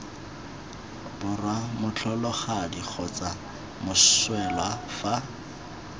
borwa motlholagadi kgotsa moswelwa fa